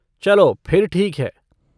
चलो फिर ठीक है।